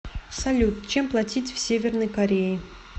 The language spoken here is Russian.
салют чем платить в северной корее